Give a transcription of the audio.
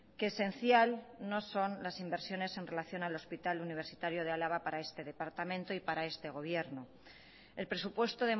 que esencial no son las inversiones en relación al hospital universitario de álava para este departamento y para este gobierno el presupuesto